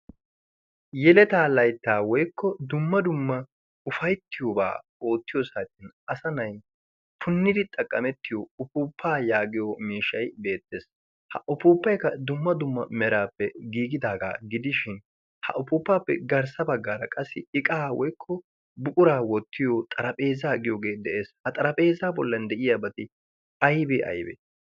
Yeleta laytta woykko dumma dumma ufayttiyoba oottiyo saatiyan asa na'aay punidi go'ettiyo upuupaa yaagiyo miishshay beettees. Ha upuupaykka dumma dumma merappe giigidaga gidishin, ha upuuppappe garssa baggaara qassi iqaa woykko buqura wottiyo xaraphpheezzaa giyoge de'ees. Ha xaraphpheezzaa bolli de'iyabati aybe aybe?